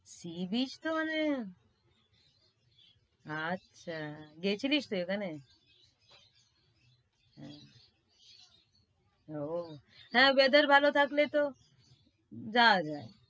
sea beach তো মানে, আচ্ছা গেছিলিস তুই ওখানে? ও হ্যাঁ, weather ভাল থাকলে তো যাওয়া যায়।